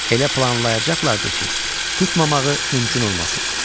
Elə planlayacaqdılar ki, tutmamağı mümkün olmasın.